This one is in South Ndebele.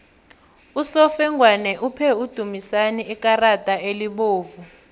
usofengwana uphe udumisani ikarada elibovu